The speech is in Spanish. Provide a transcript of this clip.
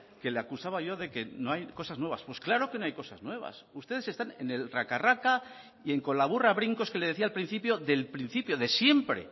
que le acusaba yo de que no hay cosas nuevas pues claro que no hay cosas nuevas ustedes están en el raca raca y en con la burra a brincos que le decía al principio del principio de siempre